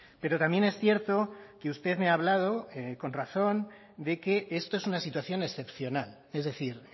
pero también es cierto que usted me ha hablado con razón de que esto es una situación excepcional es decir